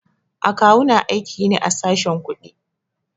A kawu na aiki ne a sashen kuɗi.